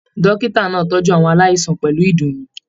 Dókítà náà tọjú àwọn aláìsàn pẹlú ìdùnnú.